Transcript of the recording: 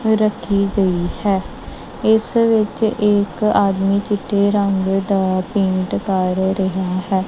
ਰੱਖੀ ਗਈ ਹੈ ਇਸ ਵਿੱਚ ਇਕ ਆਦਮੀ ਚਿੱਟੇ ਰੰਗ ਦਾ ਪੇਂਟ ਕਰ ਰਿਹਾ ਹੈ।